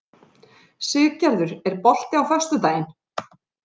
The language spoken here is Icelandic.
Siggerður, er bolti á föstudaginn?